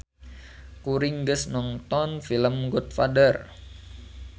Kuring geus nongton film Godfather